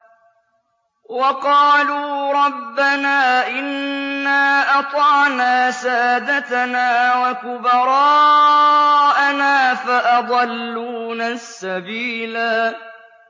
وَقَالُوا رَبَّنَا إِنَّا أَطَعْنَا سَادَتَنَا وَكُبَرَاءَنَا فَأَضَلُّونَا السَّبِيلَا